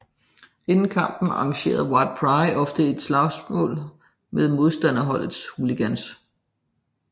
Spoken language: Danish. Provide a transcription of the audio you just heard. Inden kampen arrangerer White Pride ofte et slagsmål med modstanderholdets hooligans